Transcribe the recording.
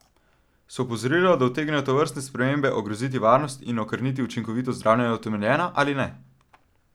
So opozorila, da utegnejo tovrstne spremembe ogroziti varnost in okrniti učinkovitost zdravljenja, utemeljena ali ne?